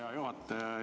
Hea juhataja!